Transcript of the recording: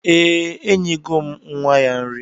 Ee, enyego m nwa ya nri